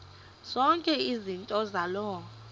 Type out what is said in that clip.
zonke izinto zaloo